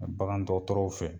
Bagandɔgɔtɔrɔw fɛ.